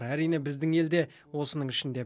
әрине біздің ел де осының ішінде